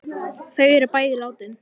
Þau er bæði látin.